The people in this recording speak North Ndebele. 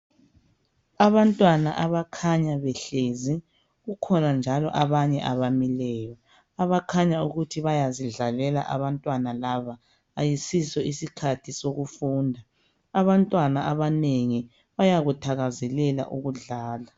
Abantwana abakhanya behleli kukhona njalo abanye abamileyo abakhanya ukuthi bayazidlalela abantwana laba ayisiso isikhathi sokufunda, abantwana abanengi bayakuthakazalela ukudlala.